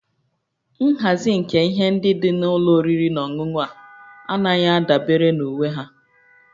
Nhazi nke ihe ndị dị na ụlọ oriri na ọṅụṅụ a anaghị adabere na uwe ha